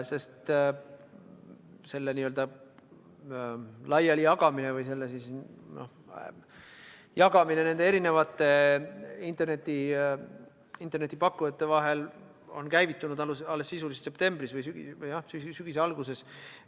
Sest selle jagamine erinevate internetipakkujate vahel on käivitunud sisuliselt alles septembris või sügise alguses.